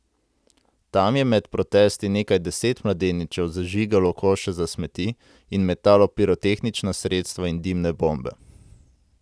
Tam je med protesti nekaj deset mladeničev zažigalo koše za smeti in metalo pirotehnična sredstva in dimne bombe.